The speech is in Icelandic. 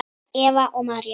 Eva og María.